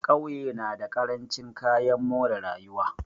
Ƙauye na da ƙarancin kayan more rayuwa.